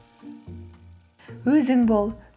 өзің бол